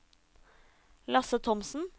Lasse Thomsen